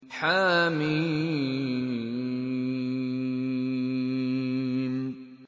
حم